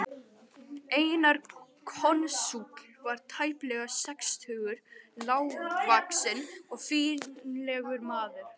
Einar konsúll var tæplega sextugur, lágvaxinn og fínlegur maður.